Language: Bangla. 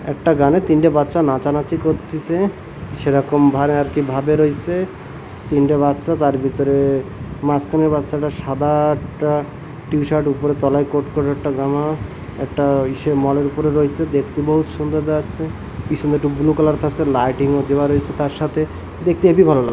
একটা গানে তিনটা বাচ্চা নাচানাচি করতিসে সেরকম ভারে আরকি ভাবে রইসে তিনটা বাচ্চা তার ভিতরে মাসখানের বাচ্চাটা সাদা একটা টি-শার্ট উপরের তলায় কোট কইরে একটা জামা একটা ইসে মল -এর উপরে রইছে দেখতে বহুত সুন্দর দেখাচ্ছে পিছনে একটি বুলু কালার থাইসে লাইটিংও দেওয়া রইছে তার সাথে দেখতে হেবি ভালো লাগ--